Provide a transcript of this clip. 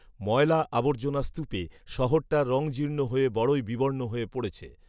ময়লা আবর্জনার স্তুপে শহরটার রঙজীর্ণ হয়ে বড়ই বিবর্ণ হয়ে পড়েছে